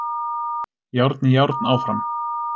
Járn í járn áfram